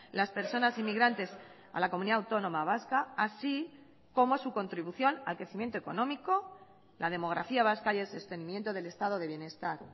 las personas inmigrantes a la comunidad autónoma vasca así como su contribución al crecimiento económico la demografía vasca y el sostenimiento del estado de bienestar